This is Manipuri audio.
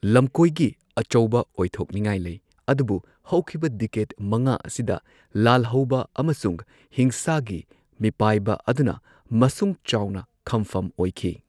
ꯂꯝꯀꯣꯢꯒꯤ ꯑꯆꯧꯕ ꯑꯣꯏꯊꯣꯛꯅꯤꯉꯥꯏ ꯂꯩ ꯑꯗꯨꯕꯨ ꯍꯧꯈꯤꯕ ꯗꯦꯀꯦꯗ ꯃꯉꯥ ꯑꯁꯤꯗ ꯂꯥꯜꯍꯧꯕ ꯑꯃꯁꯨꯡ ꯍꯤꯡꯁꯥꯒꯤ ꯃꯤꯄꯥꯏꯕ ꯑꯗꯨꯅ ꯃꯁꯨꯡ ꯆꯥꯎꯅ ꯈꯝꯐꯝ ꯑꯣꯏꯈꯤ꯫